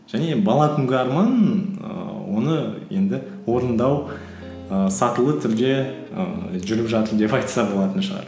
және бала күнгі арман ііі оны енді орындау ііі сатылы түрде ііі жүріп жатыр деп айтса болатын шығар